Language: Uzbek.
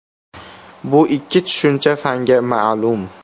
Bu ikki tushuncha fanga ma’lum.